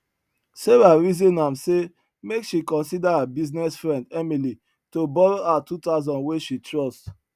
sarah reason am say make she consider her business friend emily to borrow her 2000 wey she trust